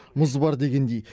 мұз бар дегендей